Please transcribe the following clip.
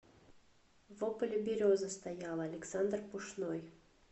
во поле береза стояла александр пушной